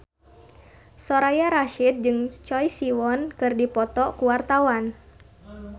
Soraya Rasyid jeung Choi Siwon keur dipoto ku wartawan